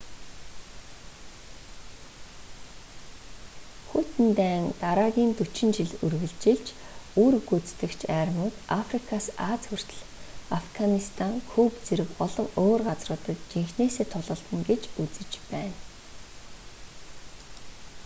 хүйтэн дайн дараагийн 40 жил үргэлжилж үүрэг гүйцэтгэгч армиуд африкаас ази хүртэл афганистан куб зэрэг олон өөр газруудад жинхэнээсээ тулалдана гэж үзэж байв